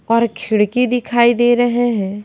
और खिड़की दिखाई दे रहे है।